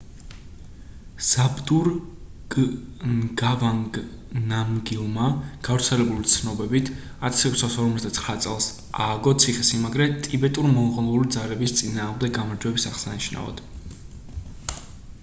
ზაბდურგ ნგავანგ ნამგილმა გავრცელებული ცნობებით 1649 წელს ააგო ციხესიმაგრე ტიბეტურ-მონღოლური ძალების წინააღმდეგ გამარჯვების აღსანიშნავად